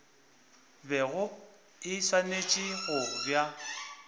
bego e swanetše go ba